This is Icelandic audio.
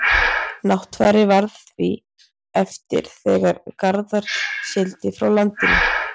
náttfari varð því eftir þegar garðar sigldi frá landinu